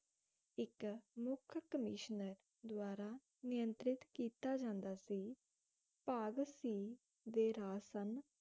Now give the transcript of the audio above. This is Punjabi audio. ਇਕ ਮੁਖ ਕਮੀਸ਼ਨਰ ਦਵਾਰਾ ਨਿਯੰਤ੍ਰਿਤ ਕੀਤਾ ਜਾਂਦਾ ਸੀ ਭਾਗ ਸੀ ਦੇ ਰਾਜ ਸਨ